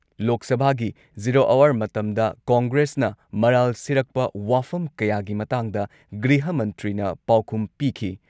ꯂꯣꯛ ꯁꯚꯥꯒꯤ zero hour ꯃꯇꯝꯗ ꯀꯣꯡꯒ꯭ꯔꯦꯁꯅ ꯃꯔꯥꯜ ꯁꯤꯔꯛꯄ ꯋꯥꯐꯝ ꯀꯌꯥꯒꯤ ꯃꯇꯥꯡꯗ ꯒ꯭ꯔꯤꯍ ꯃꯟꯇ꯭ꯔꯤꯅ ꯄꯥꯎꯈꯨꯝ ꯄꯤꯈꯤ ꯫